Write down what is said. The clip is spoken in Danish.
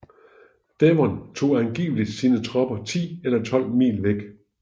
Devon tog angiveligt sine tropper ti eller tolv mil væk